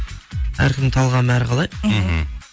әркімнің талғамы әрқалай мхм